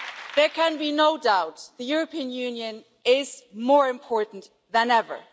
There can be no doubt the European Union is more important than ever.